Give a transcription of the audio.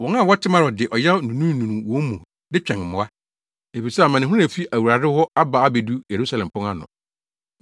Wɔn a wɔte Marot de ɔyaw nunununu wɔn mu de twɛn mmoa, efisɛ amanehunu a efi Awurade hɔ aba abedu Yerusalem pon ano.